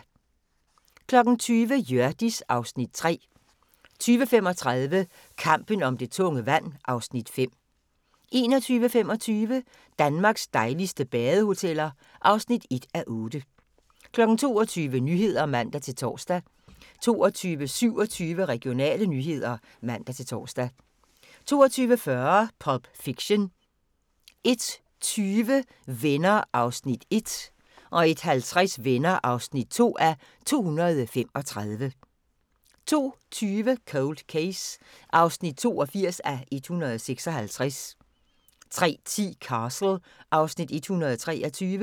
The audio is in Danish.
20:00: Hjørdis (Afs. 3) 20:35: Kampen om det tunge vand (Afs. 5) 21:25: Danmarks dejligste badehoteller (1:8) 22:00: Nyhederne (man-tor) 22:27: Regionale nyheder (man-tor) 22:40: Pulp Fiction 01:20: Venner (1:235) 01:50: Venner (2:235) 02:20: Cold Case (82:156) 03:10: Castle (Afs. 123)